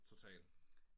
Total